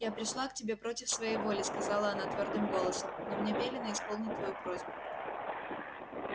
я пришла к тебе против своей воли сказала она твёрдым голосом но мне велено исполнить твою просьбу